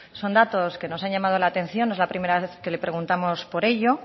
son datos que nos han llamado la atención no es la primera vez que le preguntamos por ello